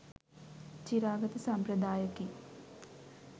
චිරාගත සම්ප්‍රදායකි.